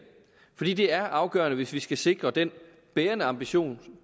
fordi det er afgørende hvis vi skal sikre den bærende ambition